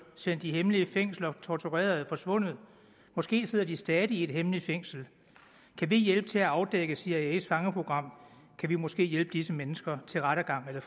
sendt i hemmelige fængsler og tortureret er forsvundet måske sidder de stadig i et hemmeligt fængsel kan vi hjælpe med til at afdække cias fangeprogram kan vi måske hjælpe disse mennesker til rettergang eller